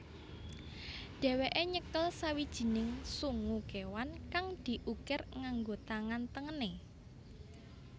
Dheweke nyekel sawijining sungu kewan kang diukir nganggo tangan tengene